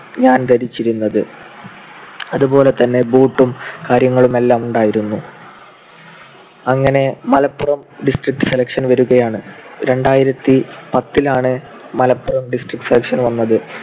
ഞാൻ ധരിച്ചിരുന്നത്. അതുപോലെതന്നെ boot ഉം കാര്യങ്ങളുമെല്ലാം ഉണ്ടായിരുന്നു. അങ്ങനെ മലപ്പുറം district selection വരുകയാണ്. രണ്ടായിരത്തിപ്പത്തിലാണ് മലപ്പുറം district selection വന്നത്.